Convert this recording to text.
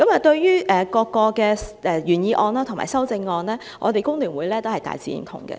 對於原議案及各項修正案，香港工會聯合會也大致認同。